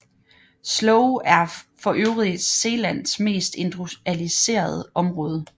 Sloe er forøvrigt Zeelands mest industrialiserede område